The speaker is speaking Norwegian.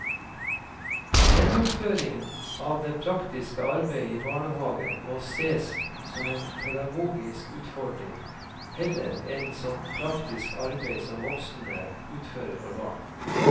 Gjennomføringen av det praktiske arbeidet i barnehagen må ses som en pedagogisk utfordring heller enn som praktisk arbeid som voksne utfører for barn.